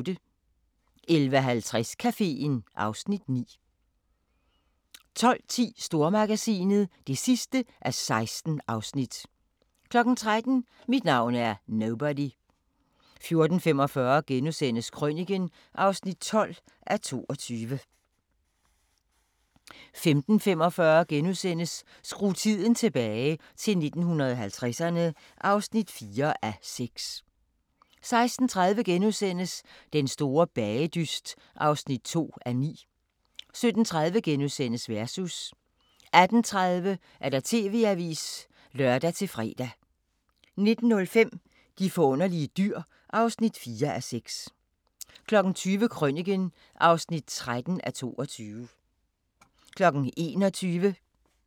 11:50: Caféen (Afs. 9) 12:10: Stormagasinet (16:16) 13:00: Mit navn er Nobody 14:45: Krøniken (12:22)* 15:45: Skru tiden tilbage – til 1950'erne (4:6)* 16:30: Den store bagedyst (2:9)* 17:30: Versus * 18:30: TV-avisen (lør-fre) 19:05: De forunderlige dyr (4:6) 20:00: Krøniken (13:22)